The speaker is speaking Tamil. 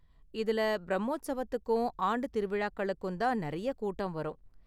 இதுல பிரம்மோத்ஸவத்துக்கும் ஆண்டுத் திருவிழாக்களுக்கு தான் நிறைய கூட்டம் வரும்.